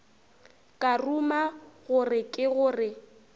ka ruma gore ke gore